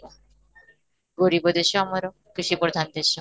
ଗରିବ ଦେଶ ଆମର, କୃଷି ପ୍ରଧାନ ଦେଶ,